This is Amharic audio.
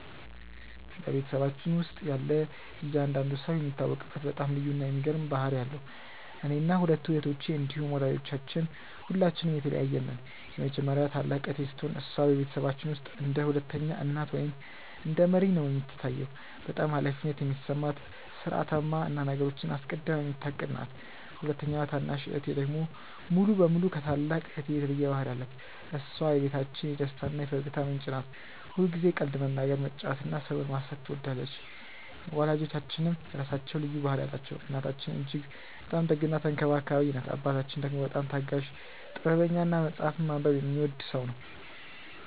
በቤተሰባችን ውስጥ ያለ እያንዳንዱ ሰው የሚታወቅበት በጣም ልዩ እና የሚገርም ባህሪ አለው። እኔና ሁለቱ እህቶቼ እንዲሁም ወላጆቻችን ሁላችንም የተለያየን ነን። የመጀመሪያዋ ታላቅ እህቴ ስትሆን፣ እሷ በቤተሰባችን ውስጥ እንደ ሁለተኛ እናት ወይም እንደ መሪ ነው የምትታየው። በጣም ኃላፊነት የሚሰማት፣ ሥርዓታማ እና ነገሮችን አስቀድማ የምታቅድ ናት። ሁለተኛዋ ታናሽ እህቴ ደግሞ ሙሉ በሙሉ ከታላቅ እህቴ የተለየ ባህሪ አላት። እሷ የቤታችን የደስታ እና የፈገግታ ምንጭ ናት። ሁልጊዜ ቀልድ መናገር፣ መጫወት እና ሰውን ማሳቅ ትወዳለች። ወላጆቻችንም የራሳቸው ልዩ ባህሪ አላቸው። እናታችን እጅግ በጣም ደግ እና ተንከባካቢ ናት። አባታችን ደግሞ በጣም ታጋሽ፣ ጥበበኛ እና መጽሐፍ ማንበብ የሚወድ ሰው ነው።